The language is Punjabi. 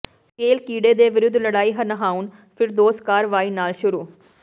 ਸਕੇਲ ਕੀੜੇ ਦੇ ਵਿਰੁੱਧ ਲੜਾਈ ਨਹਾਉਣ ਫਿਰਦੌਸ ਕਾਰਵਾਈ ਨਾਲ ਸ਼ੁਰੂ